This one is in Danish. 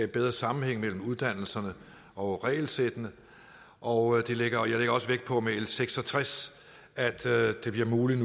bedre sammenhæng mellem uddannelserne og regelsættene og jeg lægger også vægt på med l seks og tres nu bliver muligt